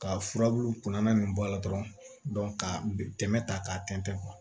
Ka furabulu kunna nin bɔ a la dɔrɔn ka tɛmɛ ta k'a tɛntɛn